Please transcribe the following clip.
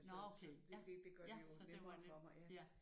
Nåh ja okay ja ja så det var nemt ja